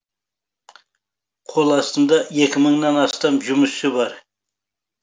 қол астымда екі мың нан астам жұмысшы бар